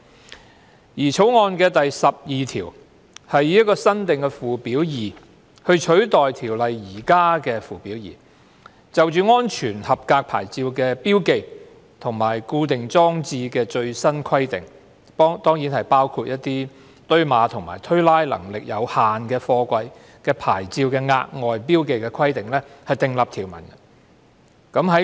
《條例草案》第12條以新訂附表 2， 取代《條例》現有附表 2， 就安全合格牌照的標記和固定裝設的最新規定，包括就堆碼和推拉能力有限的貨櫃的牌照的額外標記規定訂立條文。